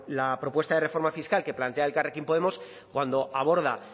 la propuesta de reforma fiscal que plantea elkarrekin podemos cuando aborda